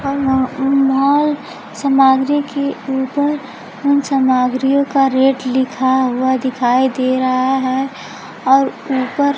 और यहां उम मॉल सामाग्री के ऊपर उन सामाग्रियों का रेट लिखा हुआ दिखाई दे रहा है और ऊपर--